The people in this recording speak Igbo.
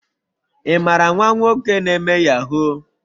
imara nwa nwoke na eme yahoo?